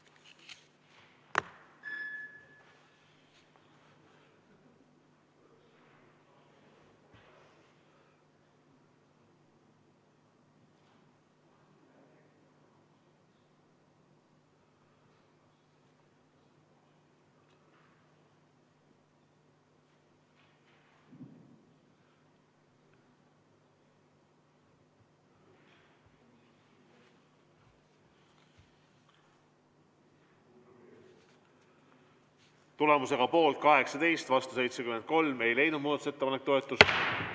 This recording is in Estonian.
Tulemusega poolt 18, vastu 73 ei leidnud muudatusettepanek toetust.